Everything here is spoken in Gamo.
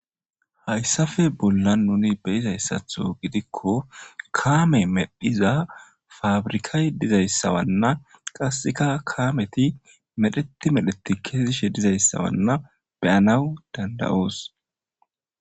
Haysape bollan nuni be'izay giko kame medhiza pabirkay dizaysa Wana qaseka kameti medheti medhoetes kezishe dizaysa beyanaw dand'aos